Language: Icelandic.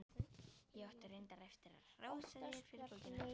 Ég átti reyndar eftir að hrósa þér fyrir bókina.